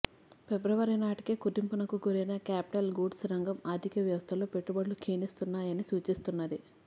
ఫిబ్రవరి నాటికే కుదింపునకు గురైన క్యాపిటల్ గూడ్స్ రంగం ఆర్థిక వ్యవస్థలో పెట్టుబడులు క్షీణిస్తున్నా యని సూచిస్తున్నది